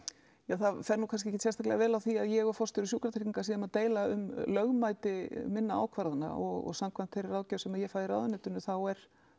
það fer nú kannski ekkert afskaplega vel á því að ég og forstjóri sjúkratrygginga séum að deila um lögmæti minna ákvarðanna og samkvæmt þeirri ráðgjöf sem ég fæ í ráðuneytinu þá er